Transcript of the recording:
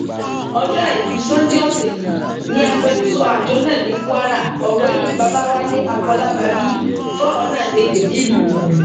ọjọ àìkú sanńdé ọsẹ yìí ni agbẹnusọ àjọ náà ní kwara ọgbẹni babáwálé àfọlábábí fọrọ náà lédè nílùú ìlọrin